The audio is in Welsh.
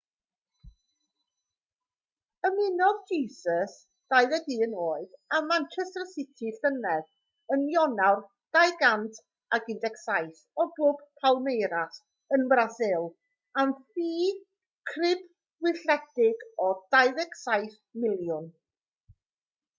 ymunodd jesus 21 oed â manchester city llynedd yn ionawr 2017 o glwb palmeiras ym mrasil am ffi crybwylledig o £27 miliwn